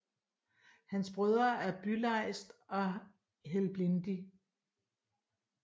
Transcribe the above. Hans Brødre er Bylejst og Helblindi